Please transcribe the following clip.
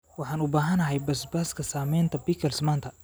Waxaan u baahanahay basbaaska samaynta pickles maanta.